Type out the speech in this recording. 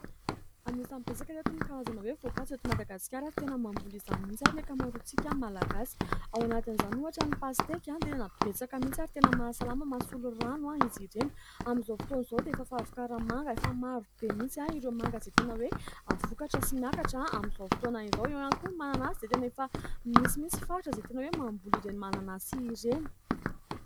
Anisany betsaka ry ireto ny karazana voankazo eto Madagasikara, ary tena mamboly izany mihitsy ary ny ankamaroantsika malagasy. Ao anatin' izany ohatra ny pasteky, tena betsaka mihitsy, ary tena mahasalama, mahasolo rano izy ireny. Amin'izao fotoan'izao dia efa fahavokaran' ny manga, efa marobe, misy ireo manga izay tena hoe vokatra sy miakatra amin'izao fotoana izao. Eo ihany koa ny mananasy izay tena efa misy mihitsy faritra izay tena hoe mamboly ireny mananasy ireny.